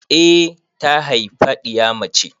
Eh ta haifa ɗiya mace.